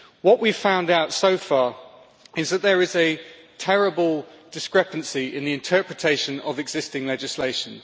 What we have found out so far is that there is a terrible discrepancy in the interpretation of existing legislation.